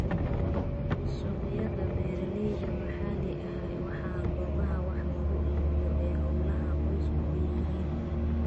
Suuqyada beeralayda maxaliga ahi waa goobaha wax lagu iibiyo ee hawlaha qoysku leeyihiin.